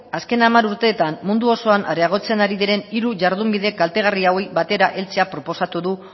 azken hamar urteetan mundu osoan areagotzen ari diren hiru jardunbide kaltegarri hauei batera heltzea proposatu du